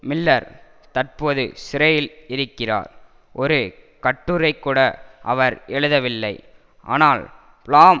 Miller தற்போது சிறையில் இருக்கிறார் ஒரு கட்டுரைகூட அவர் எழுதவில்லை ஆனால் பிளாம்